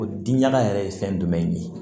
O diyala yɛrɛ ye fɛn jumɛn de ye